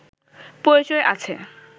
পরিচয় আছে